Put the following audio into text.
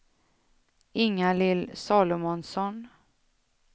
Ingalill Salomonsson